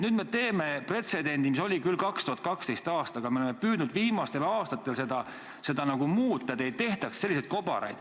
Nüüd me teeme pretsedendi, mis oli küll ka 2012. aastal, aga me oleme püüdnud viimastel aastatel seda muuta, et ei tehtaks selliseid kobaraid.